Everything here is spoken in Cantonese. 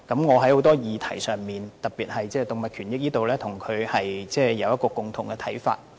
我在很多議題上，特別是在動物權益方面與她有共同的看法。